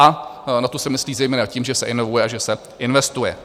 A na to se myslí zejména tím, že se inovuje a že se investuje.